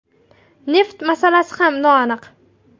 Neft masalasi ham noaniq.